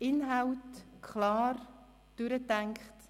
Die Inhalte klar durchdacht.